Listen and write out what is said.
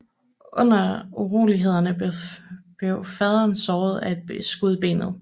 Under urolighederne blev faderen såret af et skud i benet